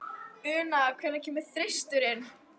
Una, hvenær kemur þristurinn?